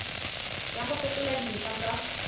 ya go fetola dintlha tsa